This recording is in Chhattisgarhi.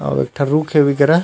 अब एक टह रुख हे ए करा --